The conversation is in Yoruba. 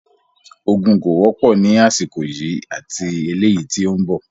Ogún kó wọ́pọ̀ ní àsìkò yìí ati eleyii tí ó ń bọ̀